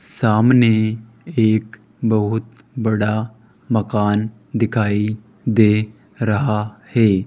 सामने एक बहुत बड़ा मकान दिखाई दे रहा है।